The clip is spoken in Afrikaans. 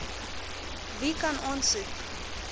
wie kan aansoek